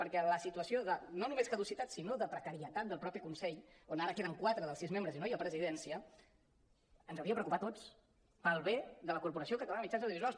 perquè la situació no només de caducitat sinó de precarietat del ma·teix consell on ara queden quatre dels sis membres i no hi ha presidència ens hauria de preocupar a tots pel bé de la corporació catalana de mitjans audiovisuals